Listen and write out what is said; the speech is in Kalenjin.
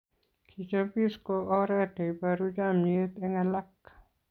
Kechopis ko oret neiporu chamiet eng alak